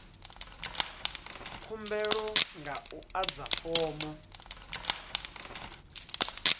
khumbelo nga u adza fomo